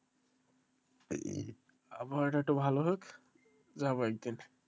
আবহাওয়াটা একটু ভালো হোক যাব একদিন,